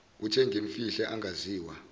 othe ngimfihle angaziwa